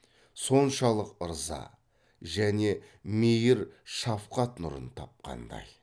соншалық ырза және мейір шафқат нұрын тапқандай